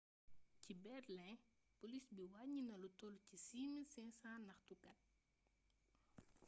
ci berlin poliis bi waññi na lu toll ci 6500 ñaxtukat